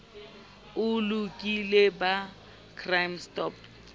o lokile ba crime stop